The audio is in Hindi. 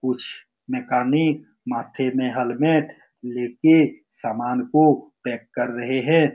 कुछ मैकेनिक माथे में हेलमेट ले के सामान को पैक कर रहें हैं।